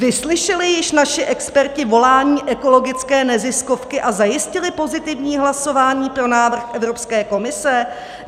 Vyslyšeli již naši experti volání ekologické neziskovky a zajistili pozitivní hlasování pro návrh Evropské komise?